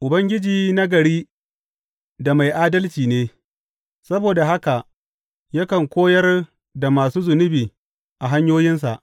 Ubangiji nagari da mai adalci ne; saboda haka yakan koyar da masu zunubi a hanyoyinsa.